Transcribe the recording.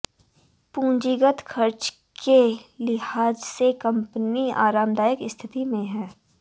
पूंजीगत खर्च के लिहाज से कंपनी आरामदायक स्थिति में है